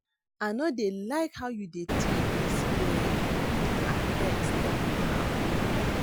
I no dey like how you dey treat dis girl abeg stop am